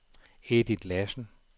Edith Lassen